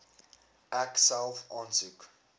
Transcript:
ek self aansoek